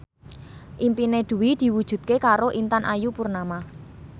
impine Dwi diwujudke karo Intan Ayu Purnama